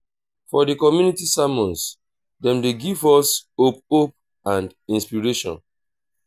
for di community sermons dem dey give us hope hope and inspiration.